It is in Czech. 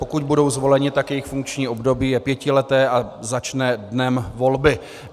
Pokud budou zvoleni, tak jejich funkční období je pětileté a začne dnem volby.